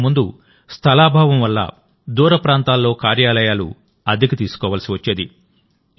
ఇంతకు ముందు స్థలాభావం వల్ల దూరప్రాంతాల్లో కార్యాలయాలు అద్దెకు తీసుకోవాల్సి వచ్చేది